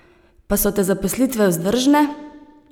Pa so te zaposlitve vzdržne?